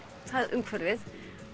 umhverfið